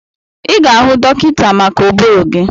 Ị ga-ahụ dọkịta maka ụbụrụ gị.